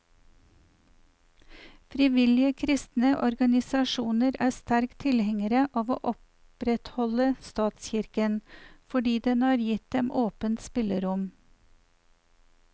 Frivillige kristne organisasjoner er sterke tilhengere av å opprettholde statskirken, fordi den har gitt dem åpent spillerom.